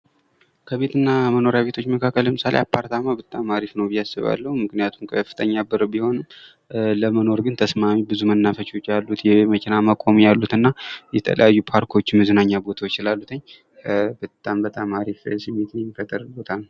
ከቢት ና መኖሪያ ቤቶች መካክለ አፓርታም በጣም አሪፍ ነው ብዬ አስባለሁ። ምክንያቱም ከፍተኛ ብር ቢሆንም ለመኖር ግን ብዙ መናፈሻ ቤቶች አሉት። የመኪና ማቆሚያ አለው። የተለያዩ ፓርኮች መዝናኛ ቦታዎች ስላሉትኝ አሪፍ ነው።